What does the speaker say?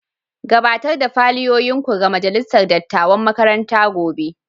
Gabatar da fayilolinku ga majalisar dattawan makaranta gobe.